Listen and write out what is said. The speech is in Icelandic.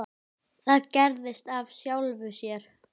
Það gerðist af sjálfu sér.